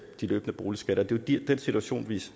de løbende boligskatter er de situationer